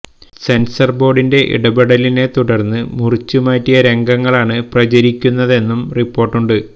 censor ബോര്ഡിന്റെ ഇടപെടലിനെ തുടര്ന്ന് മുറിച്ചു മാറ്റിയ രംഗങ്ങളാണ് പ്രചരിക്കുന്നതെന്നും റിപ്പോര്ട്ടുണ്ട്